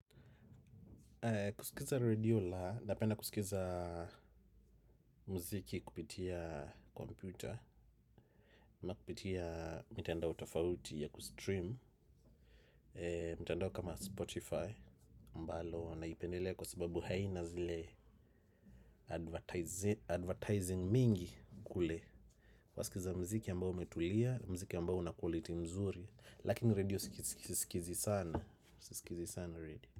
Kusikiliza redio la, napenda kusikiliza mziki kupitia kompyuta ama kupitia mitandao tofauti ya kustream. Mitandao kama Spotify mbalo naipendelea kwa sababu haina zile advertising mingi kule wasikiliza mziki ambao umetulia, mziki ambao una kwaliti nzuri. Lakini redio sikilizi sana. Sikilizi sana redio.